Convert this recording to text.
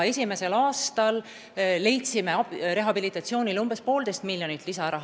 Esimesel aastal leidsime rehabilitatsiooniks umbes 1,5 miljonit lisaeurot.